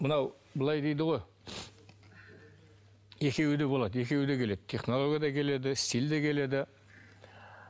мынау былай дейді ғой екеуі де болады екеуі де келеді технология да келеді стиль де келеді